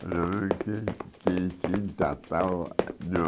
que que que